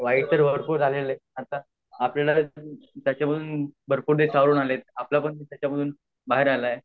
वाईट तर वाटू लागले आहे आता आपल्याला त्याच्यापासून बाहेर आले आहे